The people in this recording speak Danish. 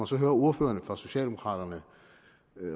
så hører ordførerne for socialdemokraterne